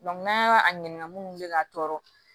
n'an y'a ɲininka munnu bɛ ka tɔɔrɔ